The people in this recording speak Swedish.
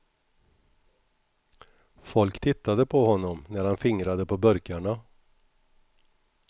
Folk tittade på honom när han fingrade på burkarna.